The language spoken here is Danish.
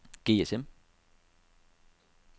GSM